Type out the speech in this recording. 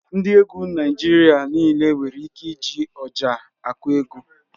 Ndị egwu Naịjirịa nịle nwere ike iji Ọjà akụ egwu